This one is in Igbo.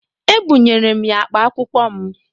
Ebụnyere m ya akpa akwụkwọ m.